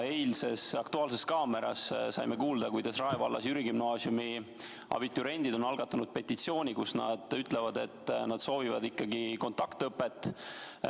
Eilses "Aktuaalses kaameras" saime kuulda, kuidas Rae vallas Jüri Gümnaasiumis on abituriendid algatanud petitsiooni, kus nad ütlevad, et soovivad ikkagi kontaktõpet.